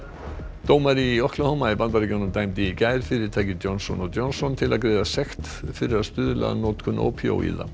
dómari í í Bandaríkjunum dæmdi í gær fyrirtækið Johnson Johnson til að greiða sekt fyrir að stuðla að notkun ópíóíða